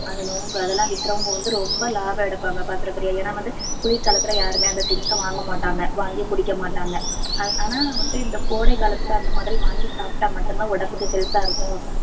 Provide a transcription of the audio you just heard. அந்த நுங்கு, அதெல்லாம் விக்கிறவங்க வந்து ரொம்ப லாபம் எடுப்பாங்க பாத்துருக்கிறியா ஏன்னா வந்து குளிர்காலத்துல யாருமே அந்த things அ வாங்கமாட்டாங்க வாங்கி குடிக்க மாட்டாங்க ஆ~ ஆனா, வந்து இந்த கோடை காலத்துல அந்த மாதிரி வாங்கி சாப்பிட்டா மட்டும்தான் உடம்புக்கு health ஆ இருக்கும்.